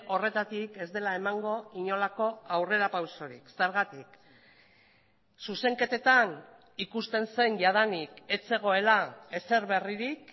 horretatik ez dela emango inolako aurrerapausorik zergatik zuzenketetan ikusten zen jadanik ez zegoela ezer berririk